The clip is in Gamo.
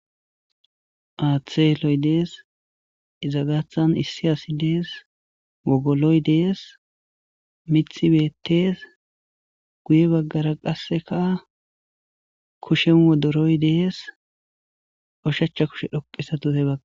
Haaththe eloy dees izagathan issi asi dees wogoloy dees mithi beettees guye baggara qasseka kushen wodoroy dees oshacha kushe dhoqisa